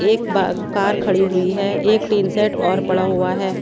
एक बा कार खड़ी हुई हैं एक टीन सेट और पड़ा हुआ हैं।